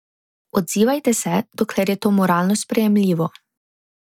Odzivajte se, dokler je to moralno sprejemljivo.